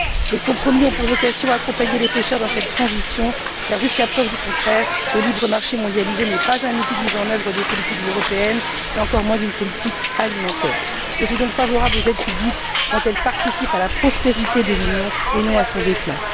Les compromis ont pour vocation d'accompagner les pêcheurs dans cette transition, car jusqu'à preuve du contraire, le libre marché mondialisé n'est pas un outil de mise en œuvre des politiques européennes et encore moins d'une politique alimentaire. Je suis donc favorable aux aides publiques, quand elles participent à la prospérité de l'Union et non à son déclin.